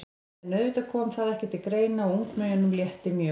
En auðvitað kom það ekki til greina og ungmeyjunum létti mjög.